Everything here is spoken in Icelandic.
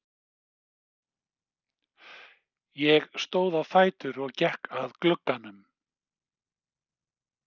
Ég stóð á fætur og gekk að glugganum.